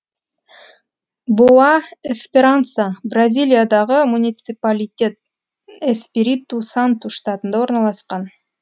боа эсперанса бразилиядағы муниципалитет эспириту санту штатында орналасқан